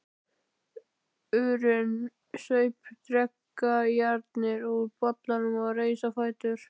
urinn, saup dreggjarnar úr bollanum og reis á fætur.